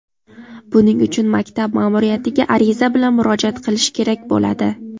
Buning uchun maktab ma’muriyatiga ariza bilan murojaat qilish kerak bo‘ladi.